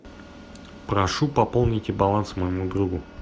прошу пополните баланс моему другу